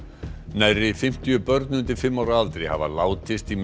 nærri fimmtíu börn undir fimm ára aldri hafa látist í